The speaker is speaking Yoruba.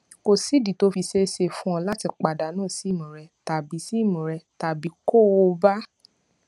kò sídìí tó fi ṣeé ṣe fún ẹ láti pàdánù sim rẹ tàbí sim rẹ tàbí kó o bà